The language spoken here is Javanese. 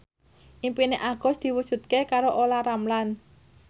impine Agus diwujudke karo Olla Ramlan